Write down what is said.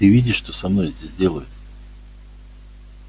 ты видишь что со мной здесь делают